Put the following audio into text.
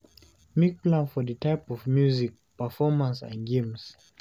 Make plan for di type of music, performance and games